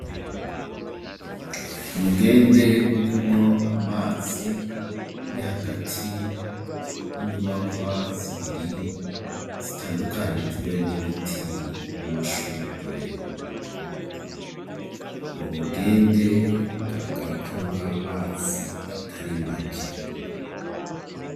Umugende urimwo amazi, uri hagati y'inyubakwa zibiri zitandukanijwe n'ibiti n'amashurwe, uwo mugende ugaragara ko urimwo amazi atari make.